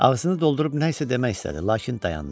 Ağzını doldurub nə isə demək istədi, lakin dayandı.